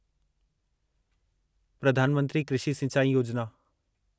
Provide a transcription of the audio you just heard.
प्रधान मंत्री कृषि सिंचाई योजिना